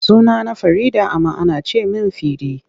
Sunana Farida amma ana ce min Fidi.